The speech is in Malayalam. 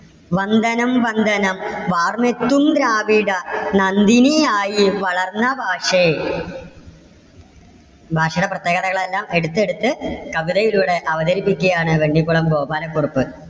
വന്ദനം വന്ദനം വാർമെത്തും ദ്രാവിഡ നന്ദിനിയായി വളർന്ന ഭാഷേ. ഭാഷയുടെ പ്രത്യേകതകളെല്ലാം എടുത്തെടുത്ത് കവിതയിലൂടെ അവതരിപ്പിക്കുകയാണ് വെണ്ണിക്കുളം ഗോപാല കുറുപ്പ്.